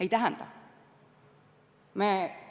Ei tähenda!